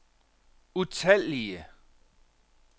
utallige